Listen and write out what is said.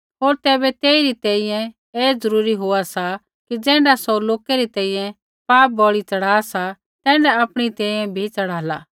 होर तैबै तेइरी तैंईंयैं ऐ ज़रूरी होआ सा कि ज़ैण्ढा सौ लोकै री तैंईंयैं पाप बलि च़ढ़ा सा तैण्ढा आपणी तैंईंयैं बी च़ढ़ाला